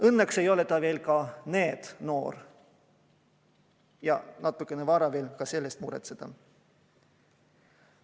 Õnneks ei ole ta veel NEET-noor ja natuke vara on selle pärast muretseda.